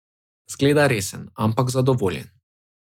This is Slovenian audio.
Zgleda resen, ampak zadovoljen.